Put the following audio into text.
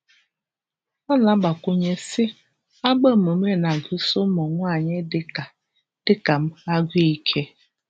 Ọ na-agbakwụnye sị: “Agbamume na-agụsi ụmụ nwaanyị dị ka dị ka m agụụ ike"